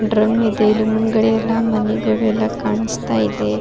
Drum ಇದೆ ಇಲ್ಲಿ ಮುಂದ್ಗಡೆ ಎಲ್ಲ ಮನೆಗಳು ಎಲ್ಲ ಕಾಣಿಸ್ತಿದೆ.